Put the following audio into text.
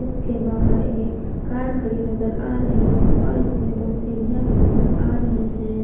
के बाहर एक कार खड़ी नजर आ रही है और इसमें दो सीढ़ियां भी नजर आ रहे हैं।